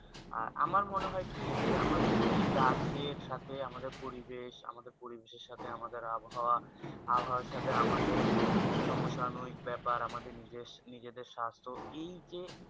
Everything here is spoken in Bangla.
আমার মনে হয়ে কি আমাদের এই গাছে থাকে আমাদের পরিবেশ আমাদের পরিবেশে সাথে আমাদের আবহাওয়া আবহাওয়া সাথে আমাদের সমসহনীক ব্যাপার আমাদের নিজে দেড় স্বাস্থ এই যে